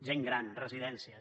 gent gran residències